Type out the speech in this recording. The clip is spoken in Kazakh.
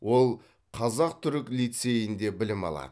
ол қазақ түрік лицейінде білім алады